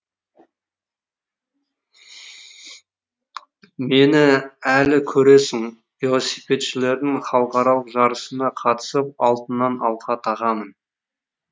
мені әлі көресің велосипедшілірдің халықаралық жарысына қатысып алтыннан алқа тағамын